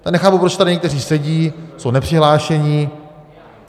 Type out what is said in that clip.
Já nechápu, proč tady někteří sedí, jsou nepřihlášení.